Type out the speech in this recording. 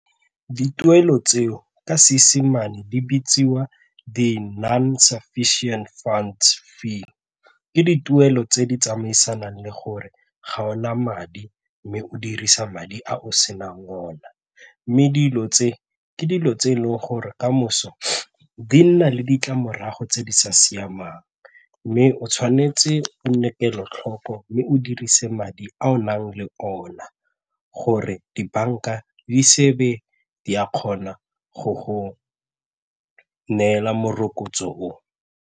Dituelo tseo ka Seesimane di bitsiwa di-non sufficient funds fee ke dituelo tse di tsamaisanang le gore ga o na madi mme o dirisa madi a o senang ona mme dilo tse ke dilo tse e leng gore kamoso di nna le ditlamorago tse di sa siamang mme o tshwanetse o nne kelotlhoko mme o dirise madi a o nang le ona gore dibanka di sebe di a kgona go go neela morokotso o.